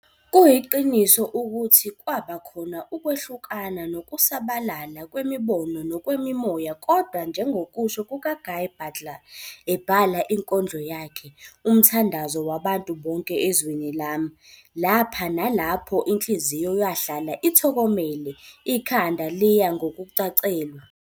Kuyiqiniso ukuthi kwaba khona ukkwehlukana nokusabalala kwemibono nokwemimoya kodwa njengokusho kuka-Guy Butler ebhala inkondlo yakhe 'Umthandazo wabantu bonke ezweni lami' - lapha nalapho inhliziyo yahlala ithokomele, ikhanda liya ngokucacelwa.